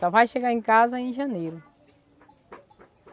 Só vai chegar em casa em janeiro.